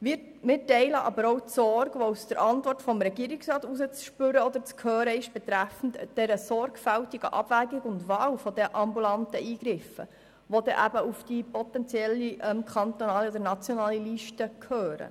Wir teilen aber auch die Sorge, die aus der Antwort des Regierungsrats hervorgeht betreffend der sorgfältigen Abwägung und Wahl der ambulanten Eingriffe, die dann auf die potenzielle kantonale oder nationale Liste gehören.